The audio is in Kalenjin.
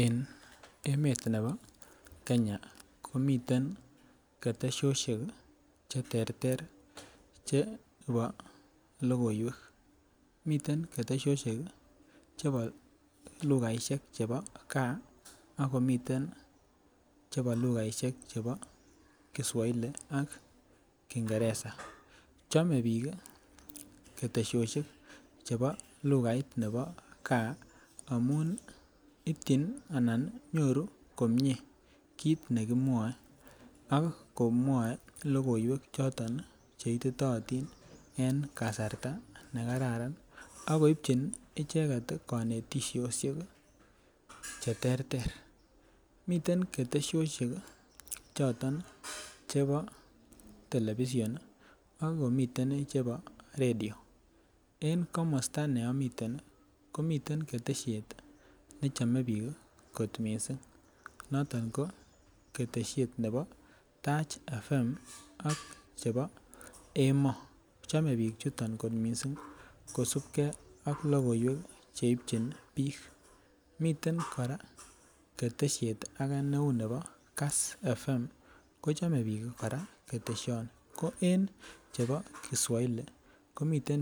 En emet nebo kenya komiten ketesoshet cheterter chebo lokoiwek miten ketesoshet chebo lukait nebo gaa ak komiten chebo lukaishek chebo kiswahili ak kingeresa. Chome bik kii ketesoshet chebo lukait nebo gaa amun ityin nii ana nyoru komie kit nekimwoe ak komwoe lokoiwek choton cheititotin en kasarta nekararan ak koibchi icheket konetishoshek cheterter . Miten ketesoshet choton chebo television nii ak komiten chebo radio en komosto neomite komiten keteshet nechome bik kot missing noton ko keteshet nebo Tarch FM ak che chebo Emoo. Chome bik chuton missing kosibigee ak lokoiwek cheipchin bik. Miten Koraa keteshet ake neun nebo Kass FM kochome bik kora ketedhoni ko en chebo kiswahili komiten